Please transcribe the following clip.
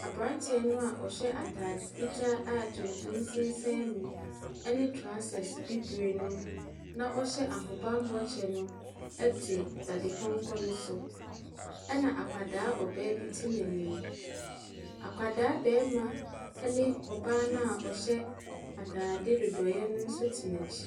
Aberanteɛ no a ɔhyɛ atade fitaa a tuntum sensan mu ne trousers bibire no,, na ɔhyɛ ahobammɔ kyɛ no te dadepɔnkɔ no so. Ɛna akwadaa ɔbaa bi te n'anim. Akwadaa barima ne ɔbaa no a ɔhyɛ atadeɛ nnodoeɛ no nso te n'akyi.